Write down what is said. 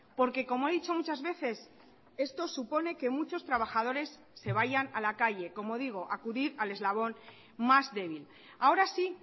porque como he dicho muchas veces esto supone que muchos trabajadores se vayan a la calle como digo acudir al eslabón más débil ahora sí